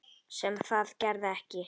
Sem það gerði ekki.